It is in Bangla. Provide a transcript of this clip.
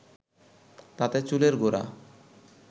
তাতে চুলের গোড়া